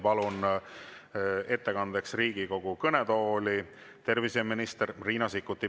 Palun ettekandeks Riigikogu kõnetooli terviseminister Riina Sikkuti.